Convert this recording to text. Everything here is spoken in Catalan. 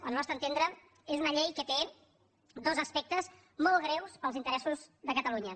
al nostre entendre és una llei que té dos aspectes molt greus per als interessos de catalunya